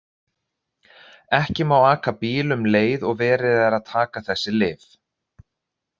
Ekki má aka bíl um leið og verið er að taka þessi lyf.